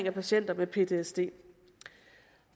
at patienter med ptsd